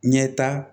Ɲɛta